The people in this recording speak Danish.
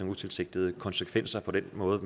utilsigtede konsekvenser for den måde